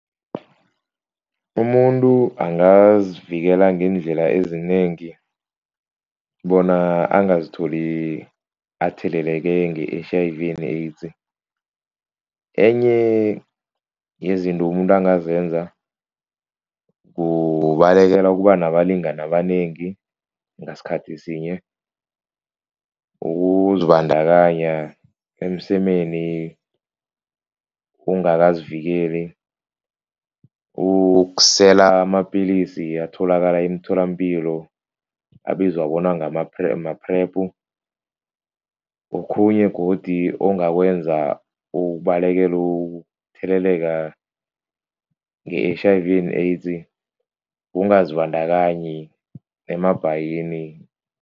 Umuntu angazivikela ngeendlela ezinengi bona angazitholi atheleleke nge-H_I_V and AIDS, enye yezinto umuntu angazenza kubalekela ukuba nabalingani abanengi ngasikhathi sinye, ukuzibandakanya emsemeni ungakazivikeli, ukusela amapilisi atholakala emtholampilo abizwa bona ngama-PrEP, ma-PrEP, okhunye godu ongakwenza ukubalekela ukutheleleka nge-H_i_V and AIDS kungazibandakanyi emabhayini.